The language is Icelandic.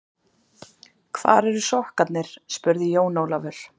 Hvar eru sokkarnir spurði Jón Ólafur.